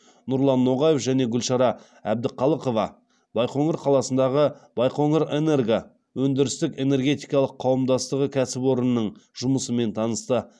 нұрлан ноғаев және гүлшара әбдіқалықова байқоңыр қаласындағы байқоңырэнерго өндірістік энергетикалық қауымдастығы кәсіпорнының жұмысымен танысты